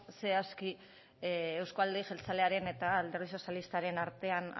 zehazki euzko alderdi jeltzalearen eta alderdi sozialistaren artean